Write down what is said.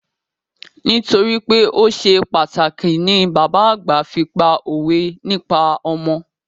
Nítorípé o ṣe pàtàkì ni bàbá àgbà fi pá òwe nípa ọmọ.